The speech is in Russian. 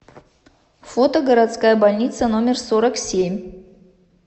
фото городская больница номер сорок семь